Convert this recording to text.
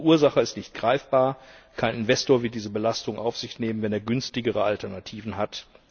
Der Verursacher ist nicht greifbar, kein Investor will diese Belastung auf sich nehmen, wenn er günstigere Alternativen hat.